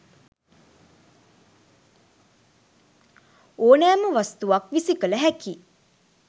ඕනෑම වස්තුවක් විසි කළ හැකි.